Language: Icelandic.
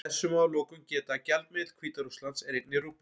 Þess má að lokum geta að gjaldmiðill Hvíta-Rússlands er einnig rúbla.